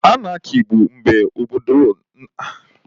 Anaki bụ mgbe obodo na-enweghị iwu na-achị ha